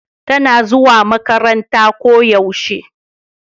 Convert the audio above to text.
tana zuwa makaranta ko yaushe